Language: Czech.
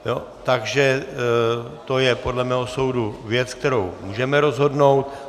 Takže to je podle mého soudu věc, kterou můžeme rozhodnout.